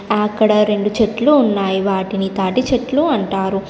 అక్కడ రెండు చెట్లు ఉన్నాయి. వాటిని తాటిచెట్లు అంటారు.